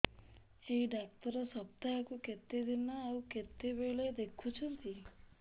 ଏଇ ଡ଼ାକ୍ତର ସପ୍ତାହକୁ କେତେଦିନ ଆଉ କେତେବେଳେ ଦେଖୁଛନ୍ତି